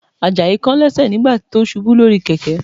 Àjàyí kán lẹ́sẹ̀ nígbà tó ṣubú lórí kẹ̀kẹ́